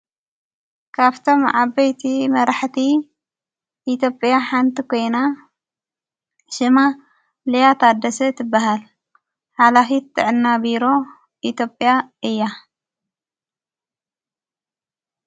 ካብቶም ዓበይቲ መራሕቲ ኢቴጵያ ሓንቲ ኾይና ሽማ ልያ ታደሰ ትበሃል ሓላኺት ትዕናቢሮ ኢቴጵያ እያ።